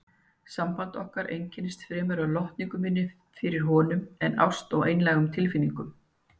Samband okkar einkenndist fremur af lotningu minni fyrir honum en ást eða einlægum tilfinningum.